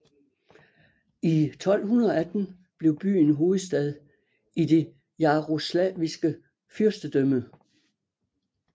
I 1218 blev byen hovedstad i det Jarosvlaviske fyrstedømme